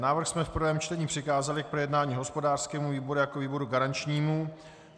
Návrh jsme v prvém čtení přikázali k projednání hospodářskému výboru jako výboru garančnímu.